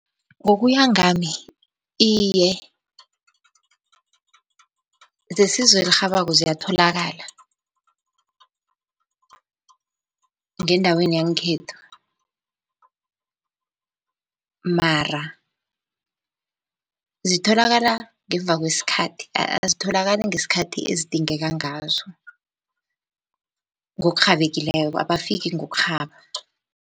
Ngokuya ngami iye, zesizo elirhabako ziyatholakala ngendaweni yangekhethu, mara zitholakala ngemva kwesikhathi. Azitholakali ngesikhathi ezidingeka ngazo ngokurhabekileko, abafiki ngokurhaba.